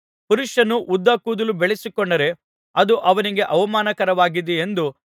ಪುರುಷನು ಉದ್ದ ಕೂದಲು ಬೆಳೆಸಿಕೊಂಡರೆ ಅದು ಅವನಿಗೆ ಅವಮಾನಕರವಾಗಿದೆಯೆಂದೂ